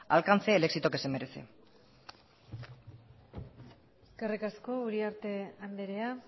alcance el éxito que se merece eskerrik asko uriarte andrea